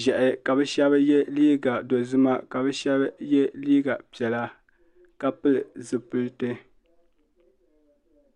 ʒiɛhi ka bi shɛba yɛ liiga dozima ka bi shɛba yɛ liiga piɛla ka pili zipiliti.